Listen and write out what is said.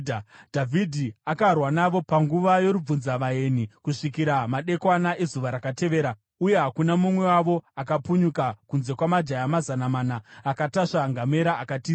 Dhavhidhi akarwa navo panguva yorubvunzavaeni kusvikira madekwana ezuva rakatevera, uye hakuna mumwe wavo akapunyuka, kunze kwamajaya mazana mana akatasva ngamera akatiza.